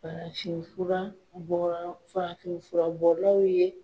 Farafin fura bɔra farafin fura bɔlaw ye